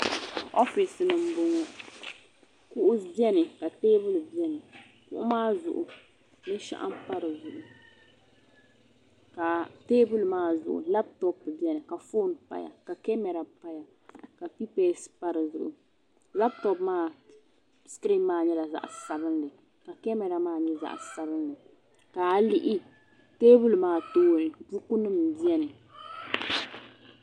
oofis ni n bɔŋɔ kuɣu biɛni ka teebuli biɛni kuɣy maa zuɣu binshɛŋa pa dizuɣu ka teebuli maa zuɣu foon n dizuɣu ka kamɛra biɛni ka kipɛs pa dizuɣu labtop maa sikiriin maa nyɛla zaɣ sabinli ka kamɛra maa nyɛ zaɣ sabinli ka a yi lihi teebuli maa tooni buku nim n biɛni